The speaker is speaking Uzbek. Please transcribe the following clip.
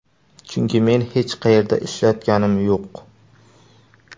Chunki men hech qayerda ishlayotganim yo‘q.